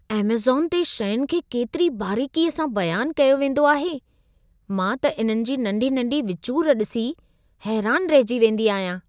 Amazon ते शयुनि खे केतिरी बारीक़ीअ सां बयान कयो वेंदो आहे। मां त इन्हनि जी नंढी-नंढी विचूर ॾिसी हैरान रहिजी वेंदी आहियां।